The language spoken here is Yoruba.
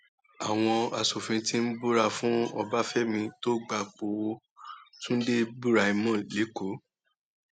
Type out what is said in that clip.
àwọn asòfin ti búra fún ọbáfẹmi tó gbapò tunde buraimoh lẹkọọ